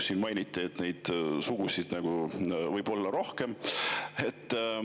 Siin mainiti, et neid sugusid võib olla rohkem.